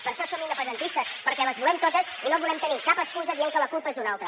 per això som independentistes perquè les volem totes i no volem tenir cap excusa dient que la culpa és d’un altre